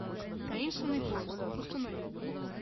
таинственный поезд установи